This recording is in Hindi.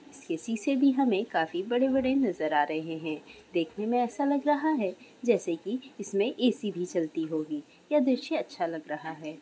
इसके शीशे भी हमें काफी बड़े-बड़े नजर आ रहे है देखने में ऐसा लग रहा है जैसे कि इसमें ए_सी भी चलती होगी यह दृश्य अच्छा लग रहा है।